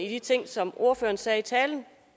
de ting som ordføreren sagde i talen